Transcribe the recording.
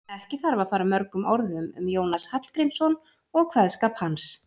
Ekki þarf að fara mörgum orðum um Jónas Hallgrímsson og kveðskap hans.